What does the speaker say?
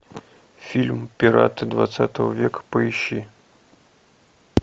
фильм пираты двадцатого века поищи